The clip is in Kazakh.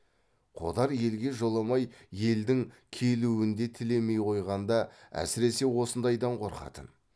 қодар елге жоламай елдің келуін де тілемей қойғанда әсіресе осындайдан қорқатын